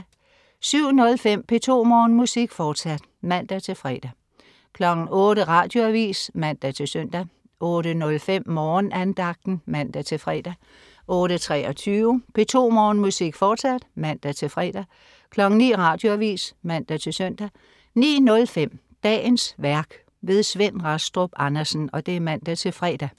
07.05 P2 Morgenmusik, fortsat (man-fre) 08.00 Radioavis (man-søn) 08.05 Morgenandagten (man-fre) 08.23 P2 Morgenmusik, fortsat (man-fre) 09.00 Radioavis (man-søn) 09.05 Dagens værk. Svend Rastrup Andersen (man-fre)